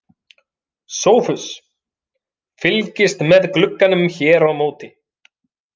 SOPHUS: Fylgist með glugganum hér á móti.